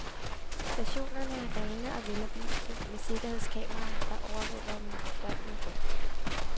Stationerne er rene og veloplyste med sikkerhedskameraer, der overvåger dem døgnet rundt.